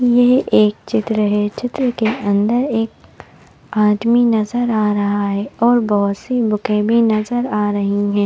यह एक चित्र है चित्र के अंदर एक आदमी नज़र आ रहा है और बहोत सी बुके भी नज़र आ रही है।